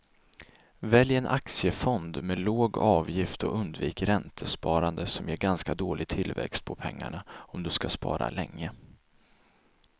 Välj en aktiefond med låg avgift och undvik räntesparande som ger ganska dålig tillväxt på pengarna om du ska spara länge.